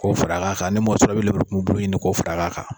Ko fara kan ka ni mɔgɔ sɔrɔ e be lemuru kun bulu ɲini ko fara kan